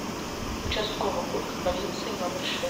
участковый пункт полиции номер шесть